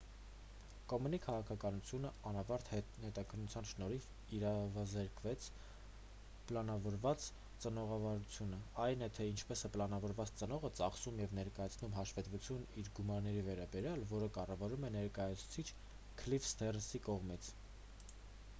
կոմենի քաղաքականությունը անավարտ հետաքննության շնորհիվ իրավազրկեց պլանավորված ծնողավարությունը այն է թե ինչպես է պլանավորված ծնողը ծախսում և ներկայացնում հաշվետվություն իր գումարների վերաբերյալ որը կառավարվում է ներկայացուցիչ քլիֆ սթերնսի կողմից